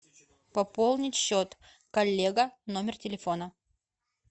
пополнить счет коллега номер телефона